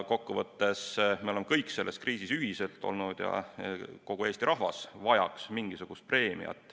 Kokkuvõttes me oleme kõik selles kriisis ühiselt olnud ja kogu Eesti rahvas vajaks mingisugust preemiat.